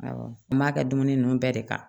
Awɔ n b'a kɛ dumuni ninnu bɛɛ de kan